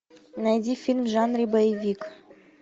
найди фильм в жанре боевик